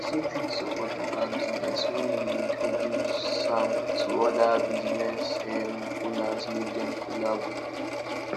persin fit support local business when im de introduce am to oda business um owners make dem collabo